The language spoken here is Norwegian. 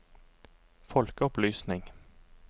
folkeopplysning